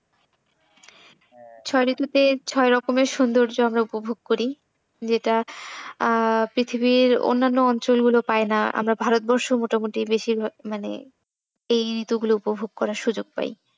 ছয় ঋতুতে ছয় রকমের সৈন্দর্য আমরা উপভোগ করি যেটা আহ পৃথিবীর অন্যান্য অঞ্চল গুলো পায় না, আমরা ভারতবর্ষ মোটামুটি বেশির ভাগ মানে এই ঋতু গুলো উপভোগ করার সুযোগ পাই।